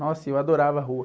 Nossa, e eu adorava a rua.